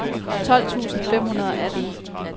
tolv tusind fem hundrede og atten